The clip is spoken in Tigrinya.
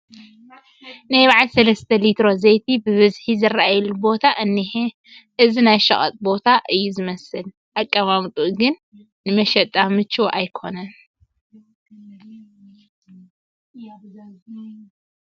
ናይ በዓል ሰለስተ ሊትሮ ዘይቲ ብብዝሒ ዝርአየሉ ቦታ እኒሀ፡፡ እዚ ናይ ሸቕጥ ቦታ እዩ ዝመስል፡፡ ኣቀማምጥኡ ግን ንመሸጣ ምቹው ኣይኮነን፡